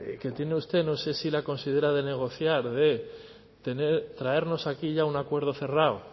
que tiene usted no sé si la considera de negociar de traernos aquí ya un acuerdo cerrado